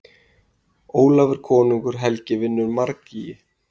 Ólafur konungur helgi vinnur margýgi.